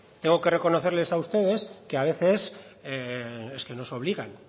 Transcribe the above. tengo que reconocerles a ustedes que a veces es que nos obligan